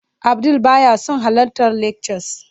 Abdul baya son halartar lectures